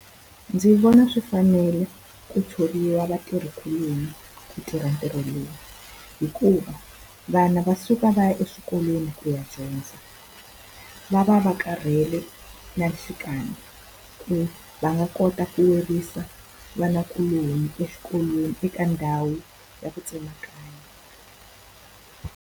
Ndzi vona swi fanele ku tshoveriwa vatirhikuloni ku tirha ntirho lowu, hikuva vana va suka va ya eswikolweni ku ya dyondza. Va va va karhele nanhlikani ku va nga kota ku vanakuloni exikolweni eka ndhawu ya ku tsemakanya.